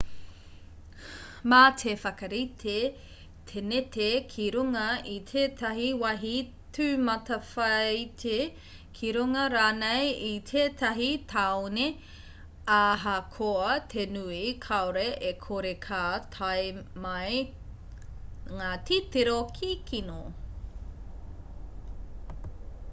mā te whakarite teneti ki runga i tētahi wāhi tūmatawhāiti ki runga rānei i tētahi tāone ahakoa te nui kāore e kore ka tae mai ngā titiro kikino